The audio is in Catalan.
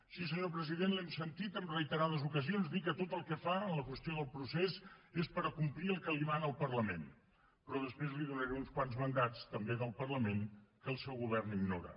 sí senyor president l’hem sentit en reiterades ocasions dir que tot el que fa en la qüestió del procés és per complir el que li mana el parlament però després li donaré uns quants mandats també del parlament que el seu govern ignora